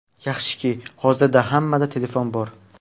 Yaxshiki, hozirda hammada telefon bor.